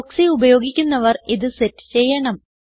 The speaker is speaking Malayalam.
പ്രോക്സി ഉപയോഗിക്കുന്നവർ ഇത് സെറ്റ് ചെയ്യണം